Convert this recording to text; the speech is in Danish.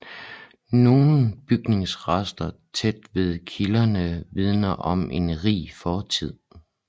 Nogle bygningsrester tæt ved kilderne vidner om en rig fortid